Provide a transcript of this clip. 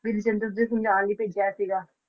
ਦੇ ਨਾਲ ਹੀ ਭੇਜਿਆ ਸੀਗਾ